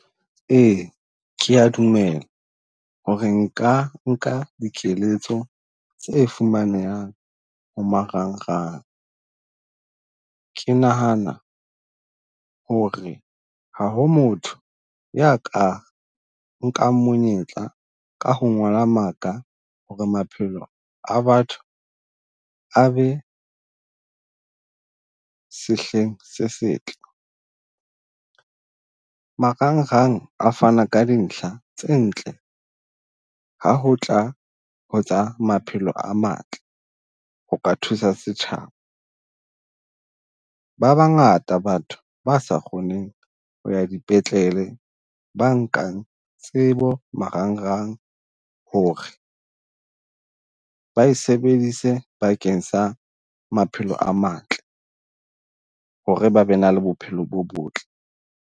Ee, ke a dumela ho re nka nka dikeletso tse fumanehang ho marangrang. Ke nahana ho re ha ho motho ya ka nkang monyetla ka ho ngola maka ho re maphelo a batho a be sehleng se setle. Marangrang a fana ka dintlha tse ntle ha ho tla ho tsa maphelo a matle, ho ka thusa setjhaba. Ba bangata batho ba sa kgoneng ho ya dipetlele, ba nkang tsebo marangrang ho re ba e sebedise bakeng sa maphelo a matle, ho re ba be na le bophelo bo botle.